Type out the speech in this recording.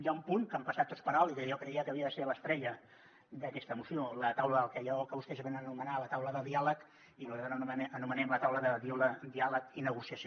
hi ha un punt que han passat tots per alt i que jo creia que havia de ser l’estrella d’aquesta moció la taula d’allò que vostès venen a anomenar la taula de diàleg i nosaltres anomenem la taula de diàleg i negociació